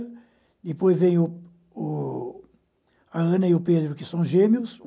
Depois vem o o a Ana e o Pedro, que são gêmeos.